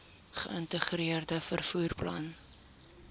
geïntegreerde vervoer plan